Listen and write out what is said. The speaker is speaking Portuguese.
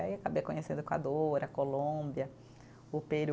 Aí acabei conhecendo Equador, a Colômbia, o Peru.